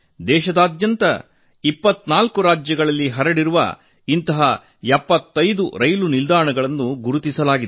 ದೇಶದಾದ್ಯಂತ 24 ರಾಜ್ಯಗಳಲ್ಲಿ ಹರಡಿರುವ ಇಂತಹ 75 ರೈಲು ನಿಲ್ದಾಣಗಳನ್ನು ಗುರುತಿಸಲಾಗಿದೆ